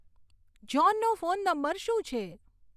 જ્હોનનો phone number શું છે